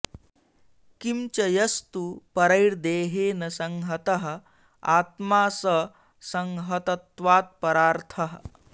किं च यस्तु परैर्देहेन संहतः आत्मा स संहतत्वात् परार्थः